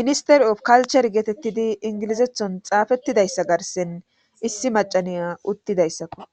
ministero kalcher geetettidi ingilizethon xaafettidayssa garsen issi macaniya uttidayssakko.